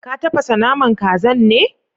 Ka tafasa naman kazan ne?